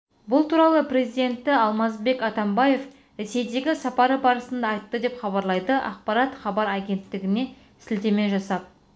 бұл туралы президенті алмазбек атамбаев ресейдегі сапары барысында айтты деп хабарлайды ақпарат кабар агенттігіне сіотеме жасап